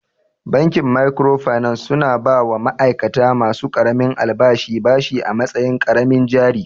Bankin microfinance su na ba wa ma'aikata ma su ƙaramin albashi bashi a matsayin ƙaramin jari